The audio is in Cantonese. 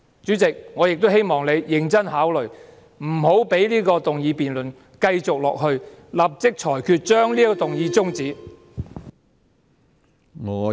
主席，我亦希望你認真考慮不要讓這項議案辯論繼續下去，立即裁決終止這項議案。